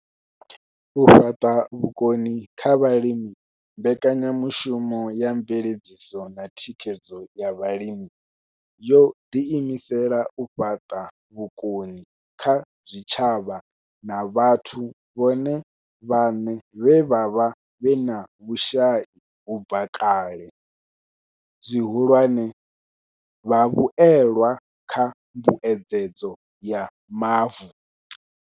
U fhaṱa vhukoni kha vhalimi Mbekanyamushumo ya Mveledziso na Thikhedzo ya Vhalimi yo ḓiimisela u fhaṱa vhukoni kha zwitshavha na vhathu vhone vhaṋe vhe vha vha vhe na vhushai u bva kale, zwihulwane, vhavhuelwa kha Mbuedzedzo ya Mavu.